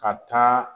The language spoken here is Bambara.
Ka taa